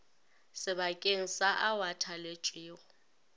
sebakeng sa ao a thaletšwego